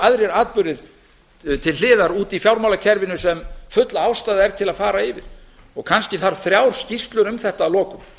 aðrir atburðir til hliðar úti í fjármálakerfinu sem full ástæða er til að fara yfir og kannski þarf þrjár skýrslur um þetta að lokum